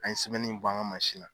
N'an ye sɛbɛnni in b'an ka marsin na